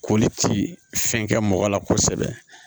Koli ti fɛn kɛ mɔgɔ la kosɛbɛ